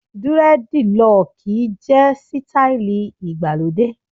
Durediloki jẹ́ sítáílì igbà lóde.